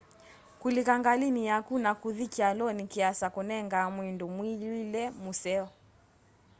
kũlĩka ngalĩnĩ yakũ na kũthĩ kyalonĩ kĩasa kũnengaa mwĩndũ mwĩw'ĩle mũseo